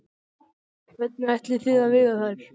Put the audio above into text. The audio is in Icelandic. Hvernig ætlið þið að veiða þær?